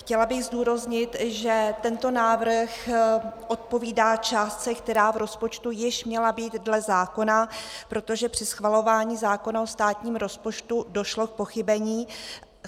Chtěla bych zdůraznit, že tento návrh odpovídá částce, která v rozpočtu již měla být dle zákona, protože při schvalování zákona o státním rozpočtu došlo k pochybení.